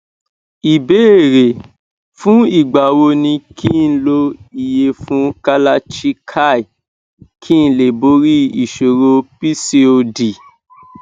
ìbéèrè fún ìgbà wo ni ki n lo iyefun kalachikai kí n lè borí ìṣòro pcod